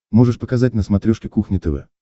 можешь показать на смотрешке кухня тв